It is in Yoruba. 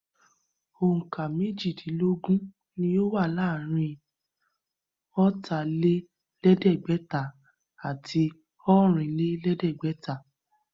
Òǹkà méjìdinlógún ni ó wà láàrin ọ̀tà-lé-lẹ̀ẹ́dẹ́gbẹ̀ta àti ọ̀rìn-lé-lẹ̀ẹ́dẹ́gbẹ̀ta